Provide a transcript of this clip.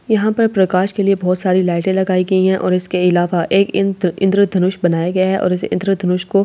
यहां पर प्रकाश के लिए बहुत सारी लाइटें लगाई गई हैं और इसके इलावा एक इन्‍त्र इन्‍द्रधनुष बनाया गया है और इस इन्‍द्रधनुष को आ